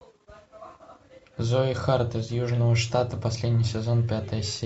зои харт из южного штата последний сезон пятая серия